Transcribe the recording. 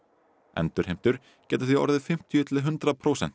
endurheimtur geta því orðið fimmtíu til hundrað prósent